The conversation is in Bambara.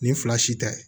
Nin fila si tɛ